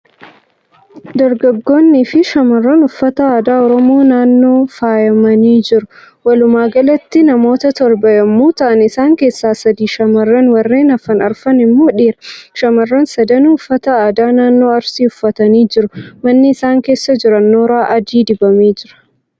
Dargaggoonni fi shamarran uffata aadaa Oromoo naannoo faayamanii jiru. Walumaagalatti namoota torba yemmuu ta'an isaan keessaa sadi shamarran warreen hafan arfan immoo dhiira. Shamarran sadanuu uffata aadaa naannoo Arsii uffatanii jiru. Manni isaan keessa jiran nooraa adii dibamee jira.